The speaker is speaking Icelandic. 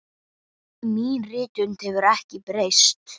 Mín rithönd hefur ekki breyst.